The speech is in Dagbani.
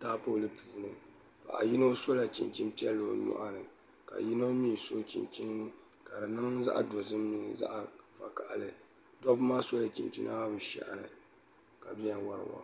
tapoli puuni paɣ' yino sula chɛnini piɛli o nuɣini ka yino mi su chɛnichɛni ka di niŋ zaɣ dozim mini zaɣ vakahili doba maa sula chɛnichɛni maa be shɛhini ka bɛni wariwa